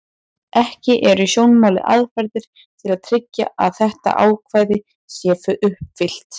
Ekki eru í sjónmáli aðferðir til að tryggja að þetta ákvæði sé uppfyllt.